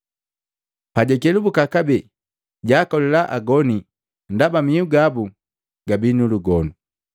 Pajakelubuka kabee, jaakolila agoni ndaba mihu gabu gabi nulugonu.